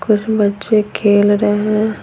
कुछ बच्चे खेल रहे हैं।